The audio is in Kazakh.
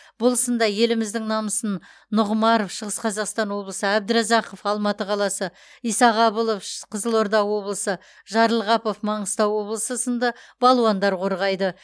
бұл сында еліміздің намысын нұғымаров шығыс қазақстан облысы әбдіразақов алматы қаласы исағабылов қызылорда облысы жарылғапов маңғыстау облысы сынды балуандар қорғайды